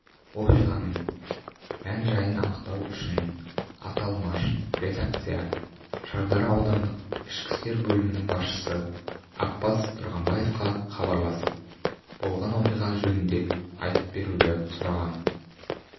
оқиғаның мән-жайын анықтау үшін аталмыш редакция шардара аудандық ішкі істер бөлімінің басшысы аппаз тұрғанбаевқа хабарласып болған оқиға жөнінде айтып беруді сұраған